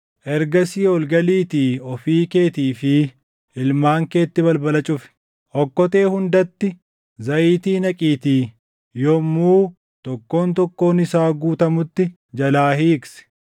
Ergasii ol galiitii ofii keetii fi ilmaan keetti balbala cufi. Okkotee hundatti zayitii naqiitii yommuu tokkoon tokkoon isaa guutamutti jalaa hiiqsi.”